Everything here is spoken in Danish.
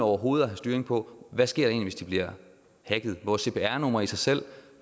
overhovedet at have styring på hvad sker hvis de bliver hacket vores cpr numre i sig selv